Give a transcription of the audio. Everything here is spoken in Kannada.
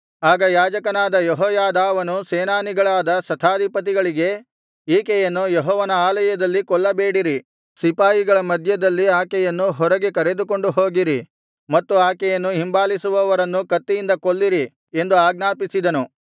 ಆಗ ಯಾಜಕನಾದ ಯೆಹೋಯಾದಾವನು ಸೇನಾನಿಗಳಾದ ಶತಾಧಿಪತಿಗಳಿಗೆ ಈಕೆಯನ್ನು ಯೆಹೋವನ ಆಲಯದಲ್ಲಿ ಕೊಲ್ಲಬೇಡಿರಿ ಸಿಪಾಯಿಗಳ ಮಧ್ಯದಲ್ಲಿ ಆಕೆಯನ್ನು ಹೊರಗೆ ಕರೆದುಕೊಂಡು ಹೋಗಿರಿ ಮತ್ತು ಆಕೆಯನ್ನು ಹಿಂಬಾಲಿಸುವವರನ್ನು ಕತ್ತಿಯಿಂದ ಕೊಲ್ಲಿರಿ ಎಂದು ಆಜ್ಞಾಪಿಸಿದನು